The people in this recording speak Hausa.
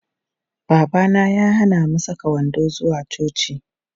Babana ya hana mu saka wando zuwa coci.